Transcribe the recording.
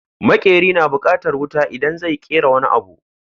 Maƙeri na bukatan wuta idan zai yi ƙera wani abu